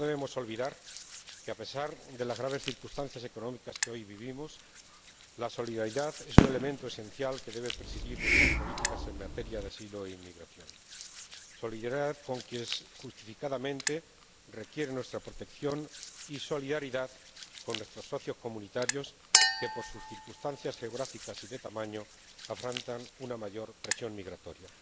No debemos olvidar que, a pesar de las graves circunstancias económicas que hoy vivimos, la solidaridad es un elemento esencial que debe presidir nuestras políticas en materia de asilo e inmigración solidaridad con quien, justificadamente, requiere nuestra protección y solidaridad con aquellos de nuestros socios comunitarios que, por sus circunstancias geográficas y de tamaño, afrontan una mayor presión migratoria.